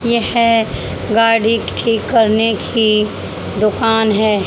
यह गाड़ी ठीक करने की दुकान है।